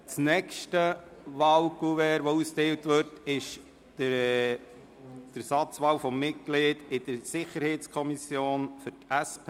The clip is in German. Das nächste Wahlkuvert, das ausgeteilt wird, betrifft die Ersatzwahl des Mitglieds SiK von der SP.